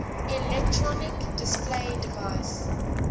electronic display device